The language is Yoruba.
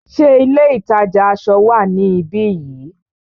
Ṣé ilé ìtajà aṣọ wá níbi yìí?